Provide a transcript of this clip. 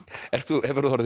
hefurðu orðið